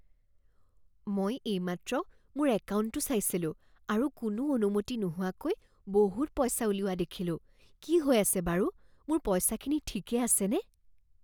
মই এইমাত্ৰ মোৰ একাউণ্টটো চাইছিলোঁ আৰু কোনো অনুমতি নোহোৱাকৈ বহুত পইচা উলিওৱা দেখিলোঁ। কি হৈ আছে বাৰু? মোৰ পইচাখিনি ঠিকেই আছেনে?